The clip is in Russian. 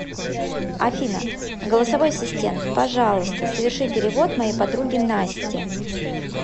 афина голосовой ассистент пожалуйста соверши перевод моей подруге насте